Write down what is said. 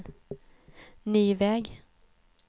ny väg